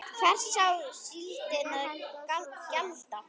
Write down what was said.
Hvers á síldin að gjalda?